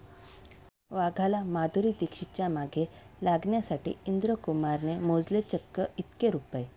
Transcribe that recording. वाघाला माधुरी दीक्षितच्या मागे लागण्यासाठी इंद्र कुमारने मोजले चक्क इतके रुपये